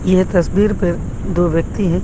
यह तस्वीर पे दो व्यक्ति हैं।